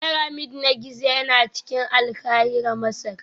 Pyramid na Giza yana cikin Alkahira Masar